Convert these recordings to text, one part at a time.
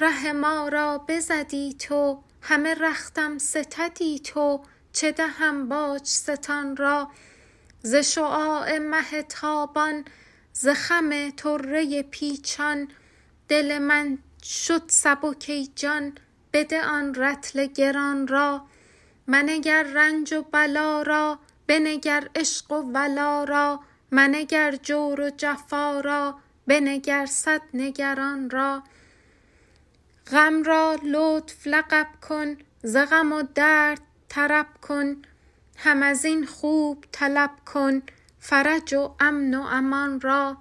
ره ما را بزدی تو همه رختم ستدی تو چه دهم باج ستان را ز شعاع مه تابان ز خم طره پیچان دل من شد سبک ای جان بده آن رطل گران را منگر رنج و بلا را بنگر عشق و ولا را منگر جور و جفا را بنگر صد نگران را غم را لطف لقب کن ز غم و درد طرب کن هم از این خوب طلب کن فرج و امن و امان را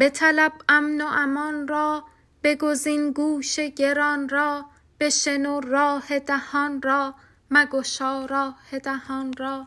بطلب امن و امان را بگزین گوش گران را بشنو راه دهان را مگشا راه دهان را